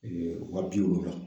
waa bi wolonwula.